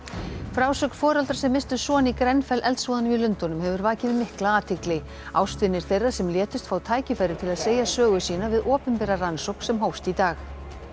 frásögn foreldra sem misstu son í eldsvoðanum í Lundúnum hefur vakið mikla athygli ástvinir þeirra sem létust fá tækifæri til að segja sögu sína við opinbera rannsókn sem hófst í dag